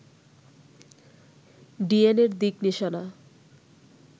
DNA র দিক নিশানা